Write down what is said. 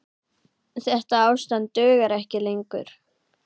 Þetta ástand dugar ekki lengur.